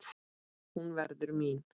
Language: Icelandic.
Hún verður mín.